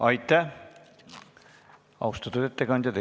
Aitäh, austatud ettekandja!